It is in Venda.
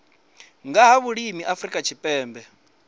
nga ha vhulimi afrika tshipembe